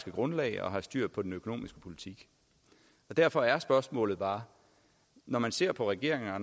grundlag og har styr på den økonomiske politik derfor er spørgsmålet bare når man ser på regeringen og